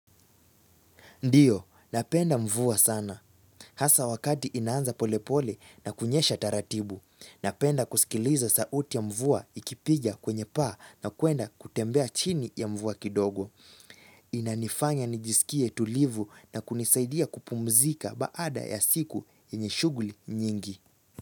Ndiyo, napenda mvua sana. Hasa wakati inaanza polepole na kunyesha taratibu. Napenda kuskiliza sauti ya mvua ikipiga kwenye paa na kwenda kutembea chini ya mvua kidogo. Inanifanya nijisikie tulivu na kunisaidia kupumzika baada ya siku yenyr shughli nyingi.